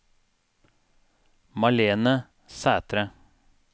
Malene Sætre